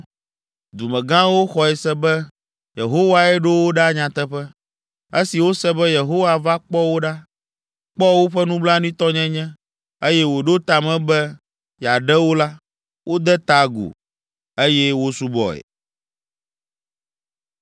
Dumegãwo xɔe se be Yehowae ɖo wo ɖa nyateƒe. Esi wose be Yehowa va kpɔ wo ɖa, kpɔ woƒe nublanuitɔnyenye, eye wòɖo ta me be yeaɖe wo la, wode ta agu, eye wosubɔe.